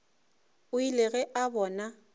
o ile ge a bona